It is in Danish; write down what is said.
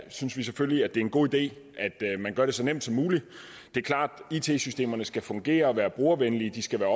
synes vi selvfølgelig at det er en god idé at man gør det så nemt som muligt det er klart at it systemerne skal fungere og være brugervenlige de skal være